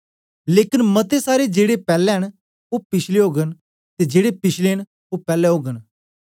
लेकन मते सारे जेड़े पैले न ओ पिछले ओगन ते जेड़े पिछले न ओ पैले ओगन